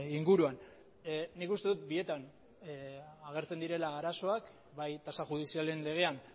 inguruan nik uste dut bietan agertzen direla arazoak bai tasa judizialen legean